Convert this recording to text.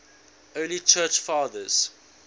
early church fathers